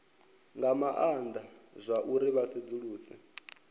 nga maana zwauri vha sedzuluse